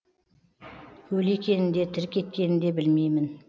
өлі екенін де тірі кеткенін де білмеймін